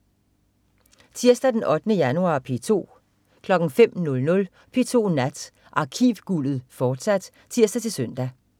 Tirsdag den 8. januar - P2: